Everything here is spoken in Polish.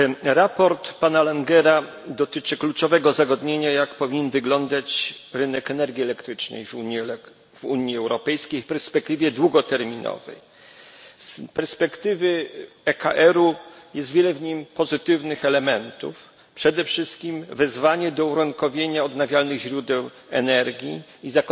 Sprawozdanie pana Langena dotyczy kluczowego zagadnienia jak powinien wyglądać rynek energii elektrycznej w Unii Europejskiej w perspektywie długoterminowej. Z perspektywy grupy ECR jest w nim wiele pozytywnych elementów, przede wszystkim wezwanie do urynkowienia odnawialnych źródeł energii i,